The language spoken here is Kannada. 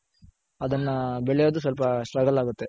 ಅದನ್ನ ಬೆಳೆಯೋದ್ ಸ್ವಲ್ಪ struggle ಆಗುತ್ತೆ.